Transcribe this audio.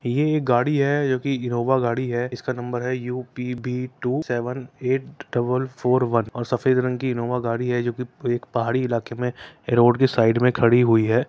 ये एक गाड़ी है जो कि इनोवा गाड़ी है। इसका नंबर है UPB two seven double four one और सफ़ेद रंग की इनोवा गाड़ी है जो कि पहाड़ी इलाके में ग्राउंड के साइड में खड़ी हुई है।